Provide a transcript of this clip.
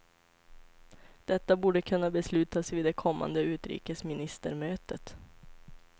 Detta borde kunna beslutas vid det kommande utrikesministermötet.